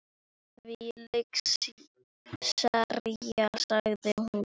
Þvílík sería sagði hún.